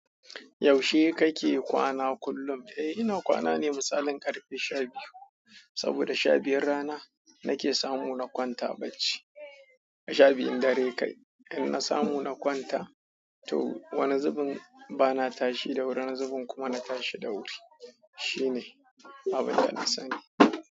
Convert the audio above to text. Yaushe kake kwana kullum? Eh ina kwana ne misalin karfe sha biyu saboda sha biyun rana nake samu na kwanta bacci. A sha biyun dare kai, in na samu na kwanta to wani zubin bana tashi da wuri, wani zubin kuma na tashi da wuri. Shine abin da na sani.